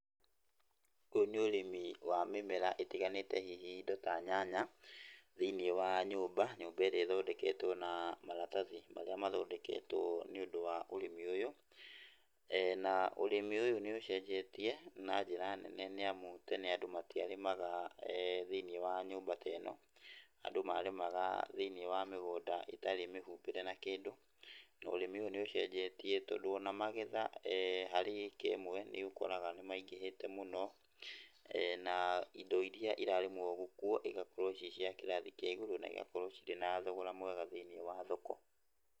Ũyũ nĩ ũrĩmi wa mĩmera ĩtiganĩte hihi indo ta nyanya thĩiniĩ wa nyũmba, nyũmba ĩrĩa ĩthondeketwo na maratathi marĩa mathondeketwo nĩũndũ wa ũrĩmi ũyũ, na ũrĩmi ũyũ nĩũcenjetie na njĩra nene nĩamu tene andũ matiarĩmaga thĩiniĩ wa nyũmba ta ĩno, andũ marĩmaga thĩiniĩ wa mĩgũnda ĩtarĩ mĩhumbĩre na kĩndũ, na ũrĩmi ũyũ nĩ ũcenjetie tondũ ona magetha harĩ ĩka ĩmwe nĩũkoraga nĩ maingĩhĩte mũno na indo iria irarĩmwo kuo igakorwo ciĩ cia kĩrathi kĩa igũrũ na igakorwo cĩrĩ na thogora mwega thĩiniĩ wa thoko.